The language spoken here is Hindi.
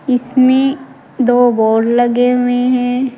इसमें दो बोर्ड लगे हुए हैं।